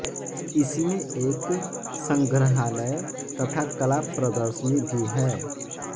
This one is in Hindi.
इसमें एक संग्रहालय तथा कला प्रदर्शनी भी है